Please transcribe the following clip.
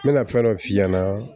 N mɛna fɛn dɔ f'i ɲɛna